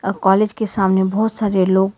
college के सामने बहुत सारे लोग--